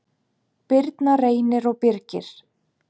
Birna, Reynir og Birgir.